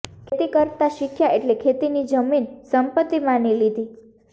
ખેતી કરતાં શીખ્યા એટલે ખેતીની જમીન સંપત્તિ માની લીધી